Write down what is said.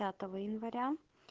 пятого января